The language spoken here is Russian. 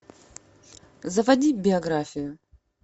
заводи биографию